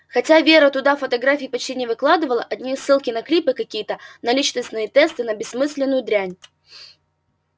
хотя вера туда фотографий почти не выкладывала одни ссылки на клипы какие-то на личностные тесты на бессмысленную дрянь